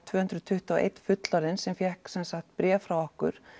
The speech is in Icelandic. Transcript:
tvö hundruð tuttugu og einn fullorðinn sem fékk sem sagt bréf frá okkur